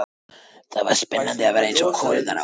Það var spennandi að vera eins og konurnar á